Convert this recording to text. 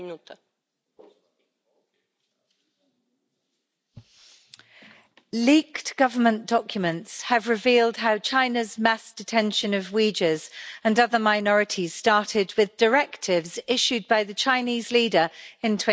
Madam President, leaked government documents have revealed how China's mass detention of Uyghurs and other minorities started with directives issued by the Chinese leader in